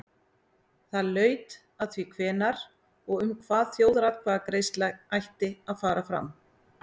Það laut að því hvenær og um hvað þjóðaratkvæðagreiðsla ætti að fara fram.